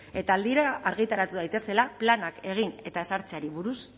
eta aldira argitaratu daitezela planak egin eta ezartzeari